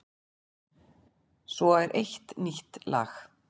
Svo er eitt nýtt lag.